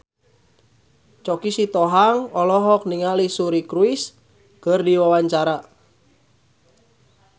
Choky Sitohang olohok ningali Suri Cruise keur diwawancara